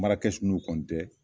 Mana kɛsu nunnu